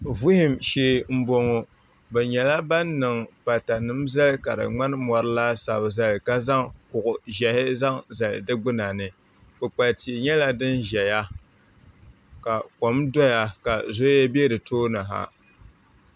Vuhum shɛɛ n bɔŋɔ bi nyɛla bani niŋ pata nima n zali ka di mŋani mori laasabu ka zaŋ kuɣu zɛhi zaŋ zali si gbuna ni kpukpali tia nyɛla dini ziya ka kom doya ka zoya ka zoya bɛ si tooni ha.